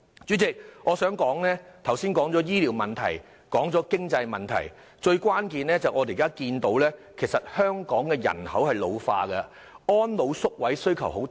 主席，我剛才已提及醫療問題和經濟問題，但另一關鍵問題是香港人口老化，對安老宿位的需求很大。